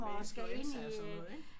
Med influenza og sådan noget ik?